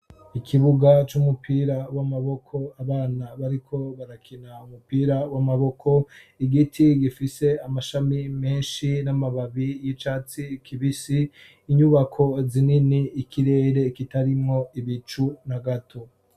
Ikibuga c'umupira w'amaboko abana bariko barakina umupira w'amaboko, igiti gifise amashami menshi n'amababi y'icatsi kibisi, inyubako zinini, ikirere kitarimwo ibicu na gato.